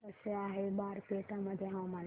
कसे आहे बारपेटा मध्ये हवामान